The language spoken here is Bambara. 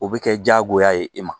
O bɛ kɛ diyagoya ye e ma